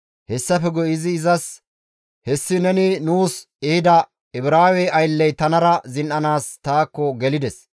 Hessafe guye iza izas, «Hessi neni nuus ehida Ibraawe aylley tanara zin7anaas taakko gelides;